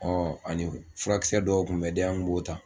Ɔ ani furakisɛ dɔw tun bɛ di an tun b'o ta